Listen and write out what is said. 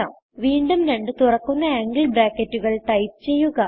വീണ്ടും രണ്ട് തുറക്കുന്ന ആംഗിൾ ബ്രാക്കറ്റുകൾ ടൈപ്പ് ചെയ്യുക